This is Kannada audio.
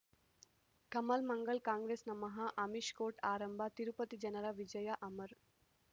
ಕಮಲ್ ಮಂಗಳ್ ಕಾಂಗ್ರೆಸ್ ನಮಃ ಅಮಿಷ್ ಕೋರ್ಟ್ ಆರಂಭ ತಿರುಪತಿ ಜನರ ವಿಜಯ ಅಮರ್